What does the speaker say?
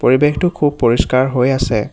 পৰিবেশটো খুব পৰিস্কাৰ হৈ আছে।